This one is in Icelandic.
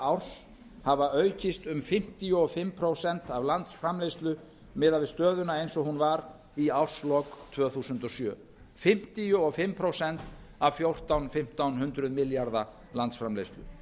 árs hafa aukist um fimmtíu og fimm prósent af landsframleiðslu miðað við stöðuna eins og hún var í árslok tvö þúsund og sjö fimmtíu og fimm prósent af fjórtán hundruð til fimmtán hundruð milljarða landsframleiðslu